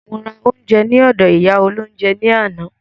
Mo ra oúnjẹ ní ọdọ̀ ìyá olóhúnjẹ ní àná.